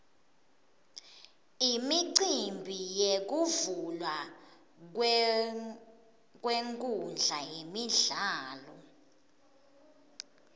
imicimbi yekuvulwa kwenkhundla yemidlalo